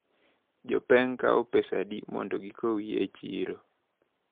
Jopeng` kawo pesa adi mondo gikowi e chiro?